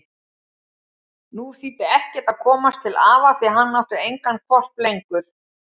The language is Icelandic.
Nú þýddi ekkert að komast til afa því hann átti engan hvolp lengur.